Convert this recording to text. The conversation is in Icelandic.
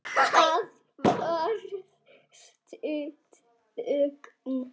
Það varð stutt þögn.